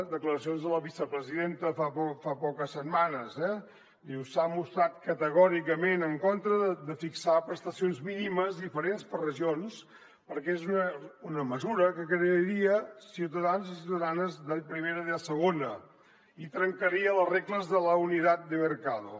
declaracions de la vicepresidenta fa poques setmanes diu s’ha mostrat categòricament en contra de fixar prestacions mínimes diferents per regions perquè és una mesura que crearia ciutadans i ciutadanes de primera i de segona i trencaria les regles de la unidad de mercado